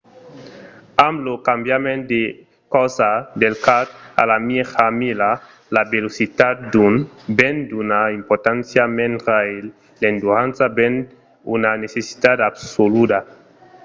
amb lo cambiament de corsa del quart a la mièja mila la velocitat ven d’una importància mendra e l’endurança ven una necessitat absoluda